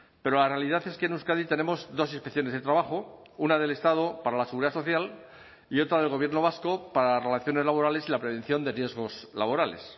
pero la realidad es que en euskadi tenemos dos inspecciones de trabajo una del estado para la seguridad social y otra del gobierno vasco para las relaciones laborales y la prevención de riesgos laborales